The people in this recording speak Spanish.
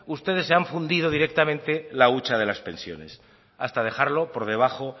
ustedes se ha fundido directamente la hucha de las pensiones hasta dejarlo por debajo